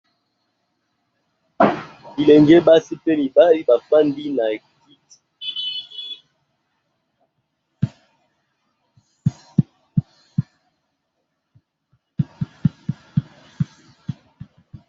Bilenge basi pe mibali bafandi na kiti.